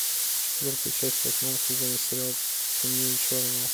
четвертая часть восьмого сезона сериал темнее черного